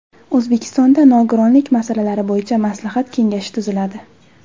O‘zbekistonda nogironlik masalalari bo‘yicha maslahat kengashi tuziladi.